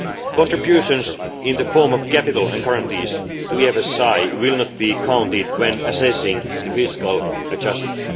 Contributions in the form of capital and guarantees to the EFSI will not be counted when assessing the fiscal adjustment.